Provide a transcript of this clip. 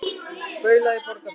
Baula í Borgarfirði.